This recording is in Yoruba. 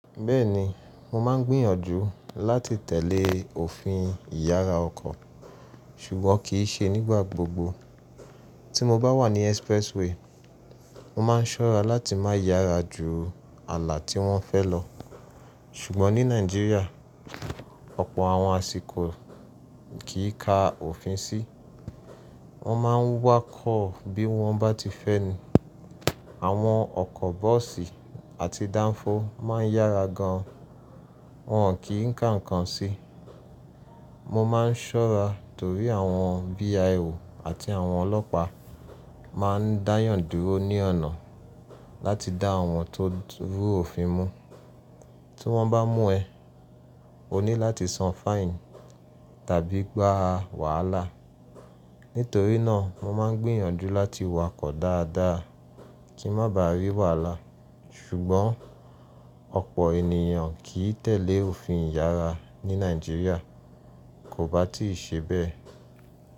Bẹ́ẹ̀ni, mo máa ń gbìyànjú láti tẹ̀lé òfin ìyára ọkọ̀, ṣùgbọ́n kì í ṣe nígbà gbogbo. Tí mo bá wà ní expressway, mo máa ń ṣọ́ra láti má yára ju àlà tí wọ́n fẹ́ lọ. Ṣùgbọ́n ní Nàìjíríà, ọ̀pọ̀ àwọn àsìkò kì í ka òfin sí. Wọ́n máa ń wákọ̀ bí wọ́n bá ti fẹ́ ni. Àwọn ọkọ̀ bọ́ọ̀sì àti dánfó máa ń yára gan, wọ́n ò kí ń ka nǹkan ṣe. Mo máa ń ṣọ́ra torí àwọn VIO àti àwọn ọlọ́pàá máa ń dáyàn dúró ní ọ̀nà láti dá àwọn tó rú òfin mú. Tí wọ́n bá mú ẹ, o ní láti san fine tàbí gbá wàhálà. Nítorí náà, mo máa ń gbìyànjú láti wakọ̀ dáadáa kí n má ba à rí wàhálà. Ṣùgbọ́n ọ̀pọ̀ ènìyàn kì í tẹ̀lé òfin ìyára ní Nàìjíríà, kò bá ti í ṣe bẹ́ẹ̀.